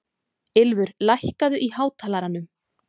Ylfur, lækkaðu í hátalaranum.